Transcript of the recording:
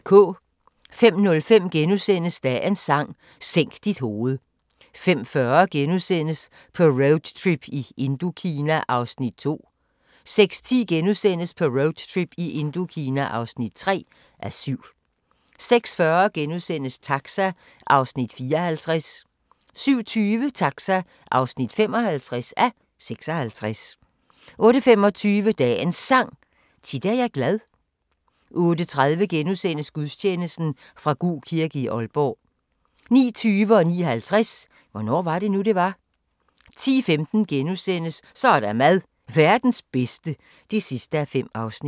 05:05: Dagens Sang: Sænk dit hoved * 05:40: På roadtrip i Indokina (2:7)* 06:10: På roadtrip i Indokina (3:7)* 06:40: Taxa (54:56)* 07:20: Taxa (55:56) 08:25: Dagens Sang: Tit er jeg glad 08:30: Gudstjeneste fra Gug kirke, Aalborg * 09:20: Hvornår var det nu, det var? 09:50: Hvornår var det nu, det var? 10:15: Så er der mad – Verdens bedste (5:5)*